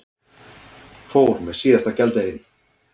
Fór með síðasta gjaldeyrinn